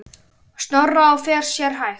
Snorra og fer sér hægt.